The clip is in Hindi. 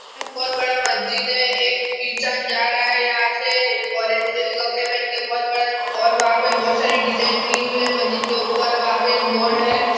यह एक बहुत बड़ा मस्जिद है एक इंसान जा रहा है यहाँ से और जैसे कपड़े पहके बहुत बड़ा और वहाँ पे बहुत सारी डिज़ाइन की हुई है मस्जिद के ऊपर। वहाँ पे एक बोर्ड है।